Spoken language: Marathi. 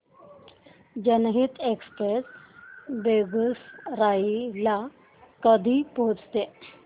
जनहित एक्सप्रेस बेगूसराई ला कधी पोहचते